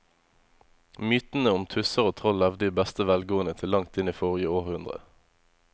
Mytene om tusser og troll levde i beste velgående til langt inn i forrige århundre.